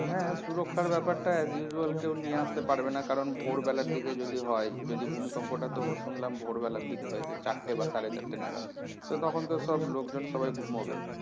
হ্যাঁ সুরক্ষার ব্যাপারটা as usual কেউ নিয়ে আসতে পারবে না কারণ ভোর বেলার দিকে যদি হয়। যদি ভূমিকম্পটা তো শুনলাম ভোর বেলার দিকে হয়েছে চারটে বা সাড়ে চারটে নাগাদ। তো তখন তো সব লোকজন সবাই ঘুমাবে